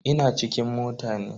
Ina cikin mota ne.